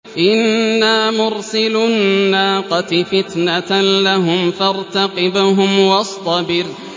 إِنَّا مُرْسِلُو النَّاقَةِ فِتْنَةً لَّهُمْ فَارْتَقِبْهُمْ وَاصْطَبِرْ